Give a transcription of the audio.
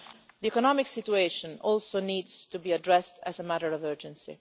The economic situation also needs to be addressed as a matter of urgency.